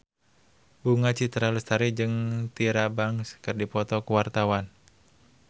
Bunga Citra Lestari jeung Tyra Banks keur dipoto ku wartawan